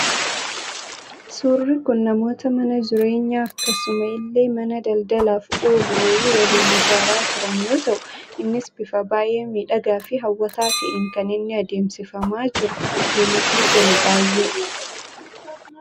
Suurri kun, namoota mana jireenyaa, akkasuma illee mana daldalaaf oolu wayii waliin ijaaraa jiran yoo ta'u, innis bifa baayyee miidhagaa fi hawwataa ta'een kan inni adeemsifamaa jiru. Namatti tolu baayyee.